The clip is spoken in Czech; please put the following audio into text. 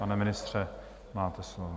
Pane ministře, máte slovo.